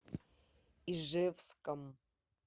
ижевском